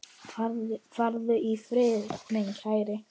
Farðu í friði, minn kæri.